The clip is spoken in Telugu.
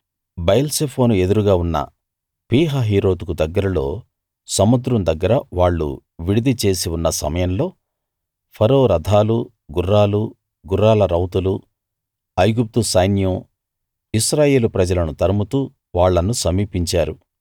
బయల్సెఫోను ఎదురుగా ఉన్న పీహహీరోతుకు దగ్గరలో సముద్రం దగ్గర వాళ్ళు విడిది చేసి ఉన్న సమయంలో ఫరో రథాలు గుర్రాలు గుర్రాల రౌతులు ఐగుప్తు సైన్యం ఇశ్రాయేలు ప్రజలను తరుముతూ వాళ్ళను సమీపించారు